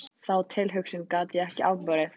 Þá tilhugsun gat ég ekki afborið.